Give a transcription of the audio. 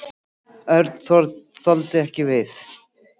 Örn þoldi ekki við.